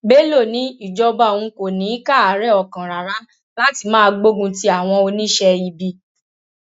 bello ní ìjọba òun kò ní í káàárẹ ọkàn rárá láti máa gbógun ti àwọn oníṣẹ ibi